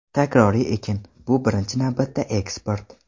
Takroriy ekin, bu – birinchi navbatda eksport.